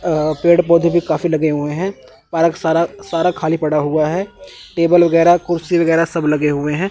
अह पेड़ पौधे भी काफी लगे हुए हैं पार्क सारा सारा खाली पड़ा हुआ है टेबल वगैरह कुर्सी वगैरह सब लगे हुए हैं।